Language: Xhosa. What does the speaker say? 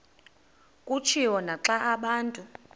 kutshiwo naxa abantu